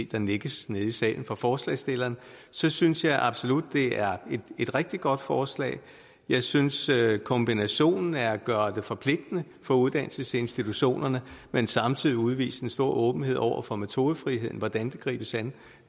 der nikkes nede i salen fra forslagsstillerne synes synes jeg absolut det er et rigtig godt forslag jeg synes at kombinationen af at gøre det forpligtende for uddannelsesinstitutionerne men samtidig udvise en stor åbenhed over for metodefriheden hvordan det gribes an